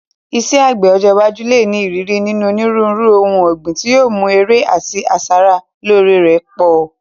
Iṣẹ́ àgbẹ̀ ọjọ́ iwájú lè ní ìrírí nínú onírúurú ohun ọ̀gbìn, tí yóò mú èrè àti asara lóore rẹ̀ pọ̀.